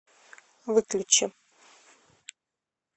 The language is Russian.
выключи